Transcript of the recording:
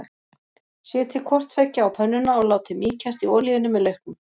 Setjið hvort tveggja á pönnuna og látið mýkjast í olíunni með lauknum.